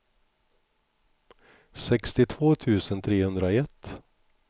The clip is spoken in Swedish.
sextiotvå tusen trehundraett